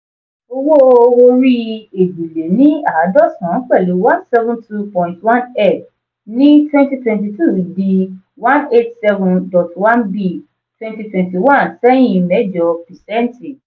owó orí èjì lé ní àádọ́sán pẹ̀lú one seven two dot one m ní twenty twenty two dì one eight seven dot one b twenty twenty one sẹ́hin mẹ́jọ percent.